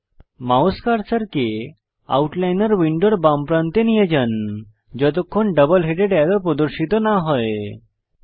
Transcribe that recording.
double headed arrow প্রদর্শিত হওয়া পর্যন্ত আপনার মাউস কার্সারকে আউটলাইনর উইন্ডোর বাম প্রান্তে নিয়ে যান